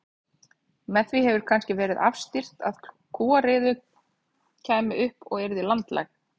Með því hefur kannski verið afstýrt að kúariða kæmi upp og yrði landlæg.